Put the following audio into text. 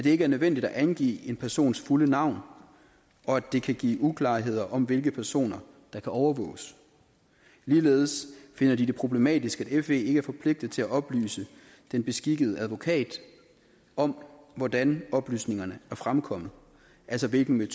ikke er nødvendigt at angive en persons fulde navn og at det kan give uklarheder om hvilke personer der kan overvåges ligeledes finder de det problematisk at fe ikke er forpligtet til at oplyse den beskikkede advokat om hvordan oplysningerne er fremkommet altså hvilken